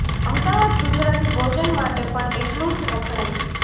અમદાવાદ ગુજરાતી ભોજન માટે પણ એટલુંજ વખણાય છે